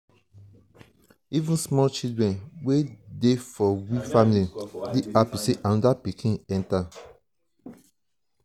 even small children wey dey for we family dey hapi sey anoda pikin enta.